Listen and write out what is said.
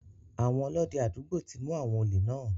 Àwọn Ọlọ́dẹ àdúgbò ti mu àwọn òlè náà.